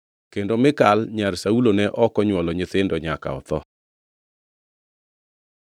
Kendo Mikal nyar Saulo ne ok onywolo nyithindo nyaka notho.